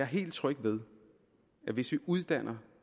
helt tryg ved det hvis vi uddanner